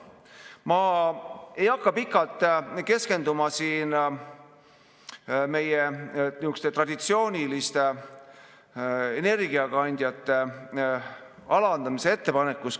Ma ei hakka pikalt keskenduma siin meie traditsiooniliste energiakandjate alandamise ettepanekule.